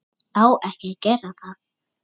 Á ekki að gera það.